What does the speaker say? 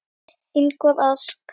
Ingvar asks.